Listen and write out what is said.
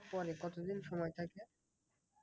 পরে কতদিন সময় থাকে?